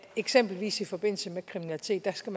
eksempelvis i forbindelse med kriminalitet skal